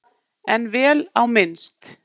En vel á minnst.